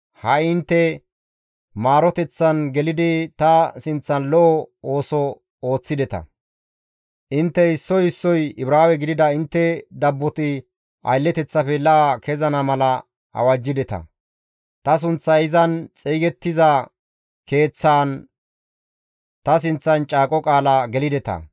Ha7i intte maaroteththan gelidi ta sinththan lo7o ooso ooththideta; intte issoy issoy Ibraawe gidida intte dabboti aylleteththafe la7a kezana mala awajjideta; ta sunththay izan xeygettiza Keeththaan ta sinththan caaqo qaala gelideta.